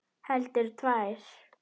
Heldur tvær.